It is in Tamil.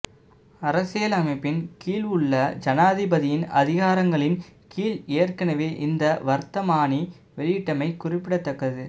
அரசியல் அமைப்பின் கீழ் உள்ள ஜனாதிபதியின் அதிகாரங்களின் கீழ் ஏற்கனவே இந்த வர்த்தமானி வெளியிட்டமை குறிப்பிடத்தக்கது